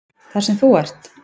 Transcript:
Þar sem þú ert?